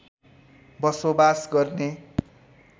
बसोबास गर्ने